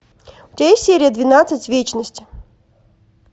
у тебя есть серия двенадцать вечность